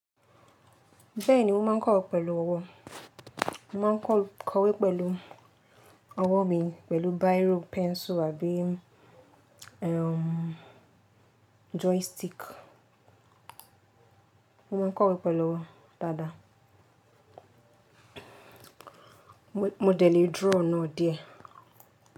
Bẹ́ẹ̀ni mo ma ń kọ́we pẹ̀lú ọwọ́. Mo ma ń kọ̀wé pẹ̀lú ọwọ́ mi pẹ̀lú biro, pẹ́ncil àbí joystick. Mo ma ń kọ̀wé pẹ̀lú ọwọ́ dáadáa. Mo dẹ̀ lé draw náà díẹ̀.